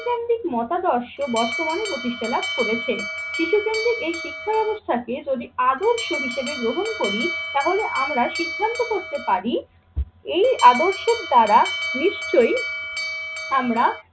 শিশু কেন্দ্রিক মতাদর্শ বর্তমানে প্রতিষ্ঠা লাভ করেছে। শিশুকেন্দ্রিক এই শিক্ষা ব্যবস্থাকে যদি আদর্শ হিসেবে গ্রহণ করি তাহলে আমরা সিদ্ধান্ত করতে পারি এই আদর্শের দ্বারা নিশ্চয়ই আমরা